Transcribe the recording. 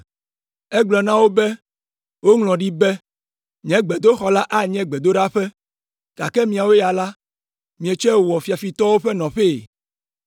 Egblɔ na wo be, “Woŋlɔ ɖi be, ‘Nye gbedoxɔ la anye gbedoɖaƒe’; gake miawo la, mietsɔe wɔ ‘fiafitɔwo ƒe nɔƒee.’ ”